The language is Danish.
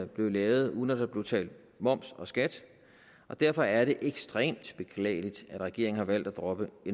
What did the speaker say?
blev lavet uden at der blev betalt moms og skat derfor er det ekstremt beklageligt at regeringen har valgt at droppe